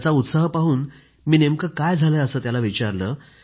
त्याचा उत्साह पाहून मी नेमकं काय झालंय असं त्याला विचारलं